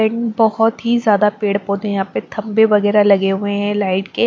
एक बहोत ही ज्यादा पेड़-पौधे यहां पे खंबे वगैरह लगे हुए हैं लाइट के।